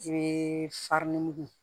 I bɛ farini mugu